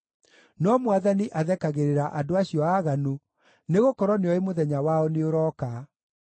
no Mwathani athekagĩrĩra andũ acio aaganu, nĩgũkorwo nĩoĩ mũthenya wao nĩũrooka.